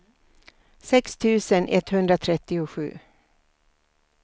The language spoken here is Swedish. sex tusen etthundratrettiosju